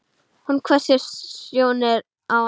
Hún hvessir sjónir á hann.